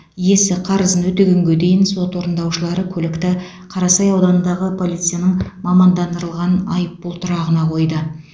иесі қарызын өтегенге дейін сот орындаушылары көлікті қарасай ауданындағы полицияның мамандандырылған айыппұл тұрағына қойды